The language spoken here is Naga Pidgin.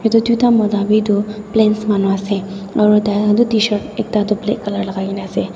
edu tuita mota bi toh plains manu ase aro tai khan toh tshirt ekta toh black colour lakaikaena ase.